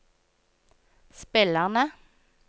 spillerne